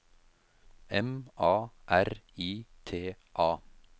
M A R I T A